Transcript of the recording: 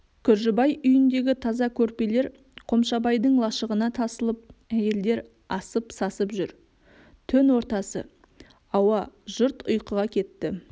күржібай үйіндегі таза көрпелер қомшабайдың лашығына тасылып әйелдер асып-сасып жүр түн ортасы ауа жұрт ұйқыға кетті